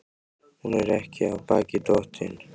Hún er ekki af baki dottin.